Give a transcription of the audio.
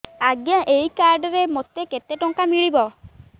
ଆଜ୍ଞା ଏଇ କାର୍ଡ ରେ ମୋତେ କେତେ ଟଙ୍କା ମିଳିବ